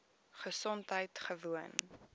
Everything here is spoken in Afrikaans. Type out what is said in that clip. gesondheidgewoon